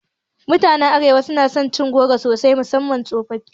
Mutanen Arewa suna son cin goro sosai musamman ma tsoffi